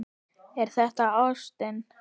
Er það ástin?